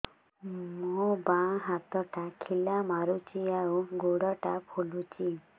ମୋ ବାଆଁ ହାତଟା ଖିଲା ମାରୁଚି ଆଉ ଗୁଡ଼ ଟା ଫୁଲୁଚି